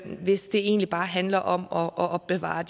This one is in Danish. hvis det egentlig bare handler om at opbevare